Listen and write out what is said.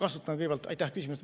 Aitäh küsimuse eest!